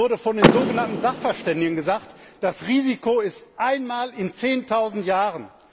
Uns wurde von den sogenannten Sachverständigen gesagt, das Risiko besteht einmal in Zehntausend Jahren.